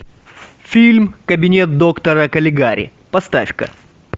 фильм кабинет доктора калигари поставь ка